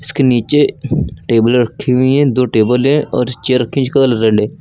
के नीचे टेबल रखी हुई हैं दो टेबल है और चेयर रखी हैं जिसका कलर रेड है।